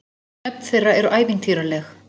Nöfn þeirra eru ævintýraleg.